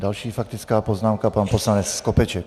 Další faktická poznámka, pan poslanec Skopeček.